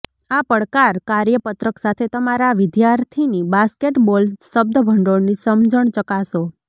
આ પડકાર કાર્યપત્રક સાથે તમારા વિદ્યાર્થીની બાસ્કેટબોલ શબ્દભંડોળની સમજણ ચકાસો